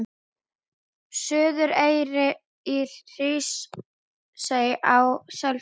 Suðureyri, í Hrísey og á Selfossi.